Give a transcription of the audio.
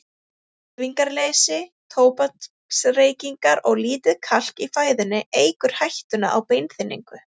Hreyfingarleysi, tóbaksreykingar og lítið kalk í fæðunni eykur hættuna á beinþynningu.